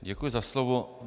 Děkuji za slovo.